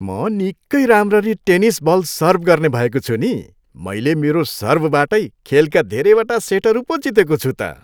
म निकै राम्ररी टेनिस बल सर्भ गर्ने भएको छु नि। मैले मेरो सर्भबाटै खेलका धेरैवटा सेटहरू पो जितेको छु त।